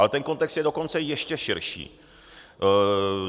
Ale ten kontext je dokonce ještě širší.